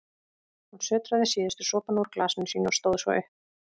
Hún sötraði síðustu sopana úr glasinu sínu og stóð svo upp.